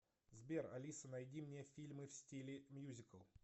сбер алиса найди мне фильмы в стиле мьюзикл